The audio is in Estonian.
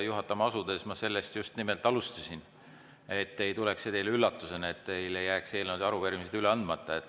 Juhatama asudes ma sellest just nimelt alustasin, et see ei tuleks teile üllatusena ja teil ei jääks eelnõud ja arupärimised üle andmata.